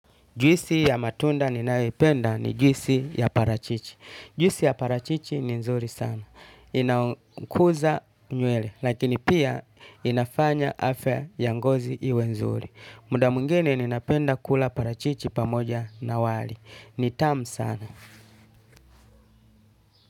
Juisi ya matunda ninayoipenda ni juisi ya parachichi. Juisi ya parachichi ni nzuri sana. Inakuza nywele, lakini pia inafanya afya ya ngozi iwe nzuri. Muda mwingine ninapenda kula parachichi pamoja na wali. Ni tamu sana.